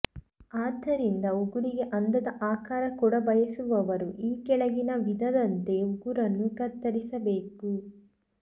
ಆದ್ದರಿಂದ ಉಗುರಿಗೆ ಅಂದದ ಆಕಾರ ಕೊಡಬಯಸುವವರು ಈ ಕೆಳಗಿನ ವಿಧಾದಂತೆ ಉಗುರನ್ನು ಕತ್ತರಿಸಬೇಕು